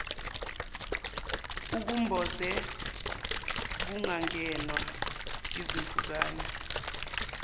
ukumboze kungangenwa yizimpukane